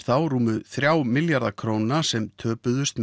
þá rúmu þrjá milljarða sem töpuðust